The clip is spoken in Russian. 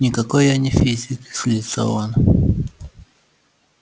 никакой я не физик злится он